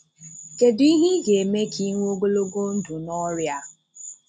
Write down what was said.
Kédụ ihe ị ga-eme ka ịnwè ogologo ndụ n’ọ̀rịa a?